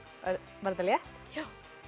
var þetta létt já